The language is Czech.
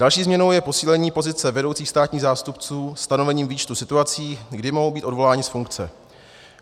Další změnou je posílení pozice vedoucích státních zástupců stanovením výčtu situací, kdy mohou být odvoláni z funkce.